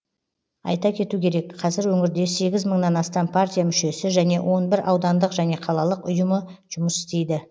айта кету керек қазір өңірде сегіз мыңнан астам партия мүшесі және он бір аудандық және қалалық ұйымы жұмыс істейді